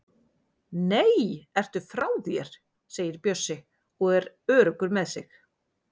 Nei, ertu frá þér! segir Bjössi og er öruggur með sig.